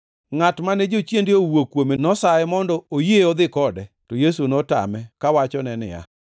Ngʼat mane jochiende owuok kuome, nosaye mondo oyie odhi kode, to Yesu notame, kawachone niya,